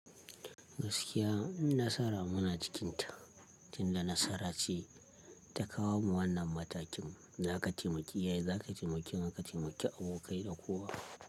Gaskiya nasara muna cikinta, tunda nasara ce ta kawo mu wannan matakin zaka taimaki iyaye, zaka taimaki iyaye zaka taimaki abokai da kowa.